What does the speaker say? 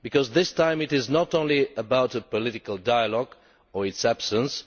This time it is not only about political dialogue or its absence